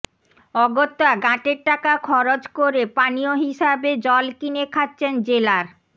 অগত্যা গ্যাঁটের টাকা খচ করে পানীয় হিসেবে জল কিনে খাচ্ছেন জেলার